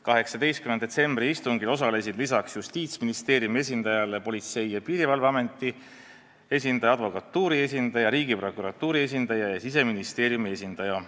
18. detsembri istungil osalesid peale Justiitsministeeriumi esindaja veel Politsei- ja Piirivalveameti esindaja, advokatuuri esindaja, Riigiprokuratuuri esindaja ja Siseministeeriumi esindaja.